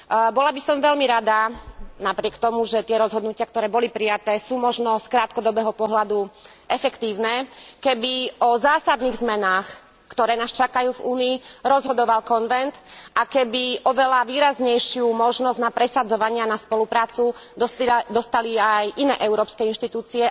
Bola by som veľmi rada, napriek tomu, že tie rozhodnutia, ktoré boli prijaté, sú možno z krátkodobého pohľadu efektívne, keby o zásadných zmenách, ktoré nás čakajú v Únii, rozhodoval konvent a keby oveľa výraznejšiu možnosť na presadzovania na spoluprácu dostali aj iné európske inštitúcie.